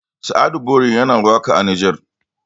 sa'adu bori yana waka a nijar